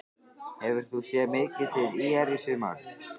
Hefur þú séð mikið til ÍR í sumar?